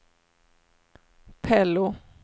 Pello